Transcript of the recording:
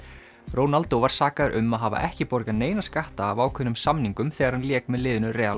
Ronaldo var sakaður um að hafa ekki borgað neina skatta af ákveðnum samningum þegar hann lék með liðinu